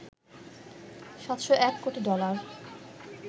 ৭০১ কোটি ডলার